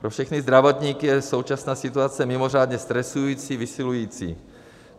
Pro všechny zdravotníky je současná situace mimořádně stresující, vysilující.